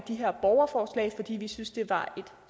de her borgerforslag fordi vi synes det var et